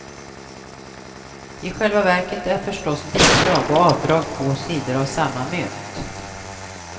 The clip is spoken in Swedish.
I själva verket är förstås bidrag och avdrag två sidor av samma mynt.